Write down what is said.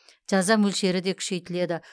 жаза мөлшері де күшейтіледі